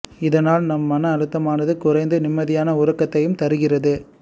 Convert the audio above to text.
இதனால் நம் மன அழுத்தமானது குறைந்து நிம்மதியான உறக்கத்தையும் தருகிறது